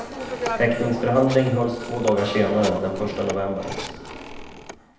Häktningsförhandling hölls två dagar senare, den första november.